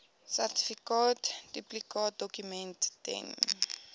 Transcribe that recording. sertifikaat duplikaatdokument ten